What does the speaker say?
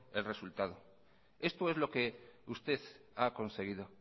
el resultado esto es lo que usted ha conseguido